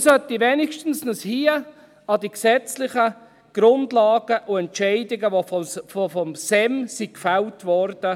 Wir sollten uns hier wenigstens an die gesetzlichen Grundlagen und die Entscheidungen halten, die gefällt wurden.